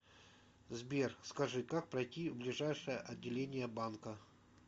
сбер скажи как пройти в ближайшее отделение банка